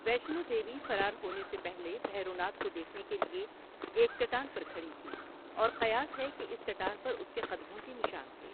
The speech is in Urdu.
ویشنو دیوی فرار ہونے سے پہلے بھیروناتھ کو دیکھنے کے لیے ایک چٹان پر کھڑی تھی اور قیاس ہے کہ اس چٹان پر اس کے قدموں کے نشان تھے۔